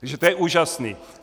Takže to je úžasné!